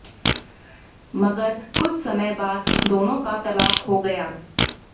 मगर कुछ समय बाद दोनों का तलाक हो गया